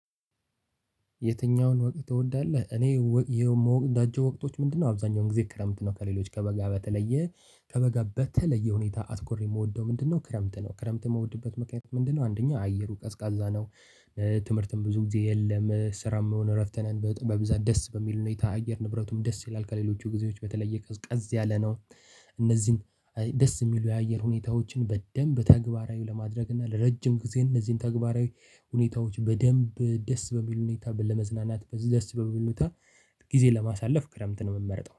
የትኛውን ወቅት ትወዳለህ እኔ የምወዳቸው ወቅቶች ምንድነው? አብዛኛውን ክረምት ነው። ከሌሎች ከበጋ በተለየ ከበጋ በተለየ ሁኔታ አትኮሪ የምወደው ምንድነው? ክረምት ነው። ክረምት እምወድበት ምክንያት ምንድነው? አንደኛ አየሩ ቀዝቃዛ ነው። ትምህርትም ብዙ ጊዜ የለም ስራም የሆነ እረፍት ነን በብዛት ደስ በሚል ሁኔታ አየር ንብረቱም ደስ ይላል ከሌሎቹ ጊዜዎች በተለየ ቀዝቀዝ ያለ ነው። እነዚህን ደስ የሚሉ የአየር ሁኔታዎችን በደንብ ተግባራዊ ለማድረግ እና ለረጅም ጊዜ እነዚህን ተግባራዊ ሁኔታዎች በደንብ ደስ በሚል ሁኔታ ለመዝናናት ደስ በሚለ ሁኔታ ጊዜ ለማሳለፍ ክረምት ነው የምመርጠው